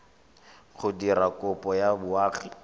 go dira kopo ya boagi